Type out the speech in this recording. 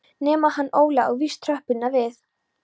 Nema hann Óli á víst tröppurnar við